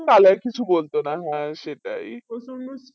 তালে আর কিছু বলতো না হ্যাঁ সেটাই